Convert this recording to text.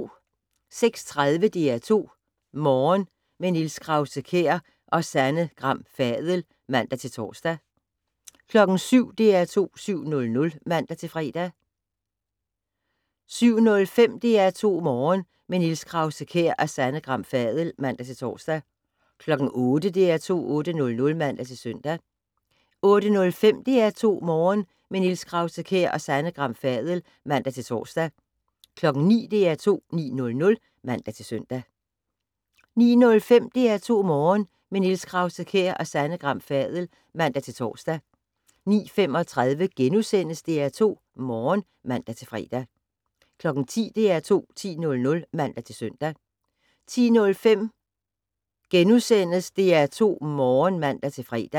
06:30: DR2 Morgen - med Niels Krause-Kjær og Sanne Gram Fadel (man-tor) 07:00: DR2 7:00 (man-fre) 07:05: DR2 Morgen - med Niels Krause-Kjær og Sanne Gram Fadel (man-tor) 08:00: DR2 8:00 (man-søn) 08:05: DR2 Morgen - med Niels Krause-Kjær og Sanne Gram Fadel (man-tor) 09:00: DR2 9:00 (man-søn) 09:05: DR2 Morgen - med Niels Krause-Kjær og Sanne Gram Fadel (man-tor) 09:35: DR2 Morgen *(man-fre) 10:00: DR2 10:00 (man-søn) 10:05: DR2 Morgen *(man-fre)